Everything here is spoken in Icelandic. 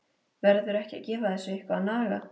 Verður ekki að gefa þessu eitthvað að naga?